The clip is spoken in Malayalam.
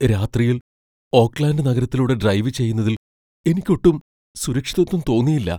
രാത്രിയിൽ ഓക്ക്ലാൻഡ് നഗരത്തിലൂടെ ഡ്രൈവ് ചെയ്യുന്നതിൽ എനിക്കൊട്ടും സുരക്ഷിതത്വം തോന്നിയില്ല.